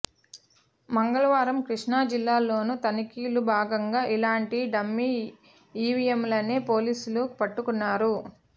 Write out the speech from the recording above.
మంగళవారం కృష్ణా జిల్లాలోనూ తనిఖీల్లో భాగంగా ఇలాంటి డమ్మీ ఈవీఎంలనే పోలీసులు పట్టుకున్నారు